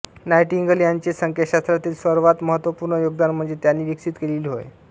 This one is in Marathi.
नाइटिंगेल यांचे संख्याशास्त्रातील सर्वात महत्त्वपूर्ण योगदान म्हणजे त्यांनी विकसित केलेली होय